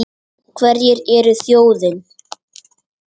Hverjir eru þjóðin?